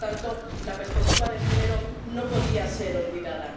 Y, por lo tanto, la perspectiva de género no podía ser olvidada.